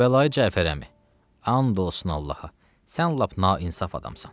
Kərbəlayı Cəfər əmi, and olsun Allaha, sən lap nainsof adamsan.